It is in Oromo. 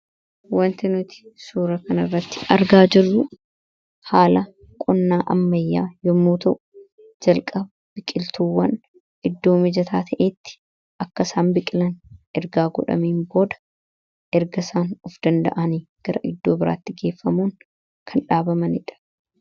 Wanti nuti suura kan irratti argaa jiruu haala qonnaa ammayyaa yommuu ta'u jalqaba biqiltuwwan iddoo mijataa ta'etti akkasaan biqilan ergaa godhamiin booda erga isaan of danda'anii gara iddoo biraatti geeffamuun kan dhaabamanidha.